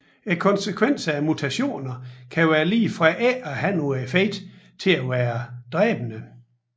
Konsekvenserne af mutationer kan være lige fra ikke at have nogen effekt til at være dræbende